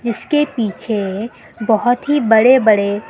जिसके पीछे बहुत ही बड़े बड़े--